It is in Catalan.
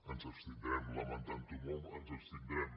ens abstindrem lamentantho molt ens abstindrem